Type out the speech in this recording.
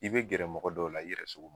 I bɛ gɛrɛ mɔgɔ dɔw la, i yɛrɛ sugu ma